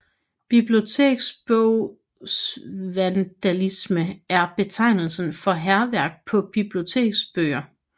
Biblioteksbogsvandalisme er betegnelsen for hærværk på biblioteksbøger